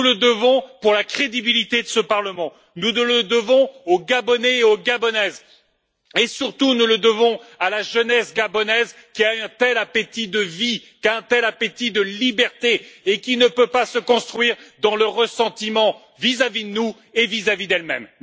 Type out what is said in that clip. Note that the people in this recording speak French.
Nous le devons pour la crédibilité de ce Parlement, nous le devons aux Gabonais et aux Gabonaises et, surtout, nous le devons à la jeunesse gabonaise qui a un tel appétit de vie, un tel appétit de liberté, et qui ne peut pas se construire dans le ressentiment vis à vis de nous et vis à vis d'elle même.